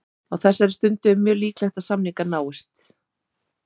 Á þessari stundu er mjög líklegt að samningar náist.